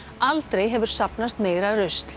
aldrei hefur safnast meira rusl